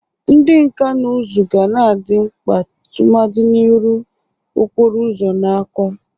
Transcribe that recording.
Ndị nka na ụzụ ga na-adị mkpa tụmadị n'irụ okporo ụzọ na akwa.